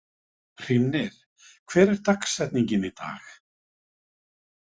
Hrímnir, hver er dagsetningin í dag?